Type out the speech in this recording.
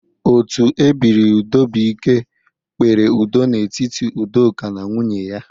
Otu ebiri udobụike kpere udo n'etiti Udoka na nwunye ya.